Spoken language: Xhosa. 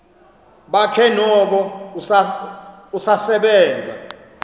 bakhe noko usasebenza